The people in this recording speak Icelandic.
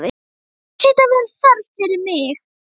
Hér hlýtur að vera þörf fyrir mig.